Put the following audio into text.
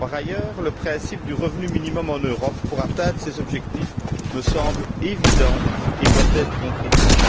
Par ailleurs, le principe du revenu minimum en Europe, pour atteindre ces objectifs, me semble évident et doit être concrétisé.